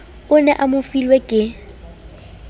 o ne a mofilwe ke